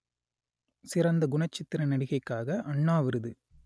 சிறந்த குணச்சித்திர நடிகைக்காக அண்ணா விருது